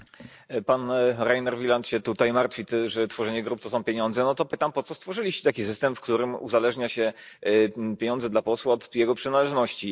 Panie Przewodniczący! Pan Reiner Wieland się tutaj martwi, że tworzenie grup to są pieniądze. No to pytam, po co stworzyliście taki system, w którym uzależnia się pieniądze dla posła od jego przynależności.